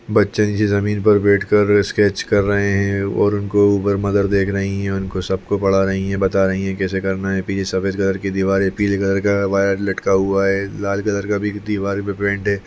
बच्चे नीचे जमीन पर बैठकर स्केच कर रहे है और उनको ऊपर मदर देख रही है उनको सबको पढ़ा रही है बता रही है कैसे करना है पीछे सफ़ेद कलर की दीवार है पिले कलर का वायर लटका हुआ है लाल कलर का भी दीवार पे पेंट है।